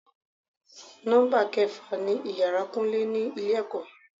Nọ́mbà kẹfà ni ìyára kúnlé ni ilé ẹ̀kọ́.